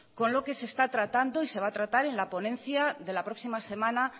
con lo que se está tratando y se va a tratar en la ponencia de la próxima semana